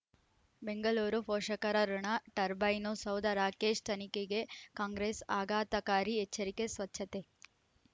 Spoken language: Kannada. ಬೆಂಗಳೂರು ಪೋಷಕರಋಣ ಟರ್ಬೈನು ಸೌಧ ರಾಕೇಶ್ ತನಿಖೆಗೆ ಕಾಂಗ್ರೆಸ್ ಆಘಾತಕಾರಿ ಎಚ್ಚರಿಕೆ ಸ್ವಚ್ಛತೆ